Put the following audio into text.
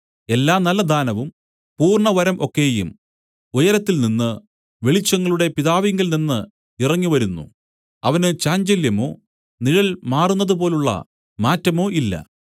എല്ലാ നല്ല ദാനവും പൂർണ്ണവരം ഒക്കെയും ഉയരത്തിൽനിന്ന് വെളിച്ചങ്ങളുടെ പിതാവിങ്കൽനിന്ന് ഇറങ്ങിവരുന്നു അവന് ചാഞ്ചല്യമോ നിഴൽ മാറുന്നതു പോലുള്ള മാറ്റമോ ഇല്ല